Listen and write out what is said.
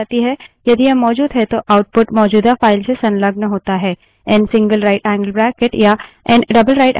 यदि यह मौजूद है तो output मौजूदा file से संलग्न होता है